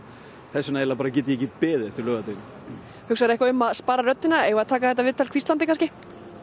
þess vegna get ég ekki beðið eftir laugardeginum hugsarðu eitthvað um að spara röddina eigum við að taka þetta viðtal hvíslandi kannski